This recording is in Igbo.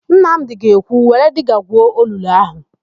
Nnamdị ga-ekwu, "Were diga gwuo olulu áhụ̀"!